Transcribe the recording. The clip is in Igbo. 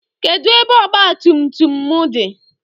Kedụ ebe ọgba tum tum m dị?